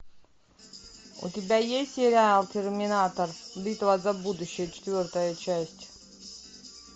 у тебя есть сериал терминатор битва за будущее четвертая часть